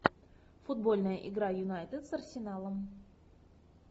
футбольная игра юнайтед с арсеналом